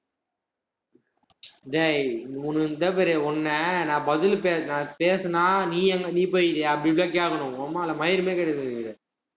டேய் உனக்கு இங்கபாரு உன்ன நான் பதில் பேசி~ நான் பேசினா, நீ அங்க நீ போயிருக்கியா அப்படி, இப்படிலாம் கேட்கணும் மயிரு மாதிரி கேட்டுட்டு இருக்க